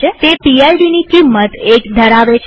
તે PIDની કિંમત 1 ધરાવે છે